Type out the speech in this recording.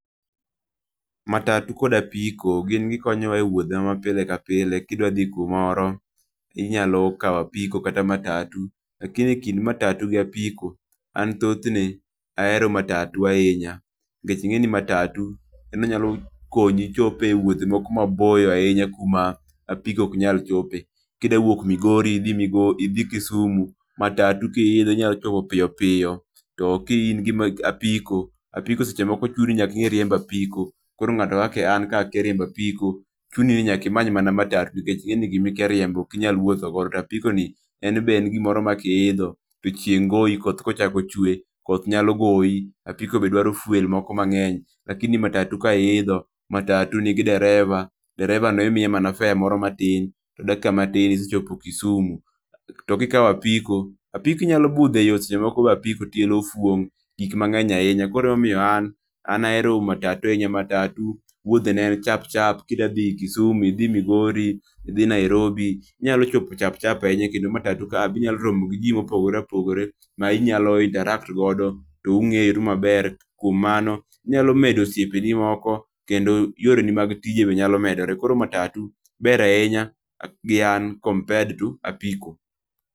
Matatu kod apiko gin gi konyo wa e wuodhe ma pile ka pile ki idwa dhi kumoro inyalo kawo apiko kata matatu. Lakini kind matatu gi apiko an thothne ahero matatu ahinya mnikech ing'e ni matatu en onya konyi ichop e wuothe moko ma boyo ku ma apiko ok nya chope. Ki idwa wuok Migori idhi Migori idhi Kisumu matatu ki idho inyalo chopo piyo piyo to ka i n gi apiko, apiko seche moko chuno nyaka inge riembo apiko koro ngato akka an gka akia riembo apiko chuni nyaka imany amanya matatu nikech ing'e ni gi ma ikia riembo ok inyal wuotho godo to apiko ni en be en gi moro ma ki iidho to chieng goyi koth ka ochako chwe koth nya goyi. apiko be dwaro fuel moro mang'eny lakini matatu ki iidho en gi dereva, dereva no imiye mana fare moro matin to dakika matin isechopo Kisumu. To ki ikawo apiko apiko inyalo budho e yo, seche moko be apiko tiende ofuong gik mang'eny ahinya. Koro ema omiyo an ahero matatu ahinya, matatu wuodhe ne chap chap ki idwa dhi Kisumo idhi Migori, idhi Nairobi ,iinyalo chopo chap chap ahinya kendo matatu kae be inyalo romo gi ji ma opogore opogore mi inyalo interact godo to ung'eru ma ber, kuom mano inyalo medo osiepe ni moko, kendo yore ni mag tije be nyalo medore. koro matatu ber ahinya gi an compared to apiko